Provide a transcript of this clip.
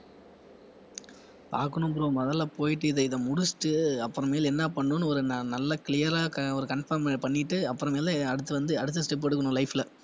பார்க்கணும் bro முதல்ல போயிட்டு இதை இதை முடிச்சிட்டு உ அப்புறம் மேல் என்ன பண்ணணும்னு ஒரு ந~ நல்ல clear ஆ க~ ஒரு confirm பண்ணிட்டு அப்புறமேல அடுத்து வந்து அடுத்த step எடுக்கணும் life ல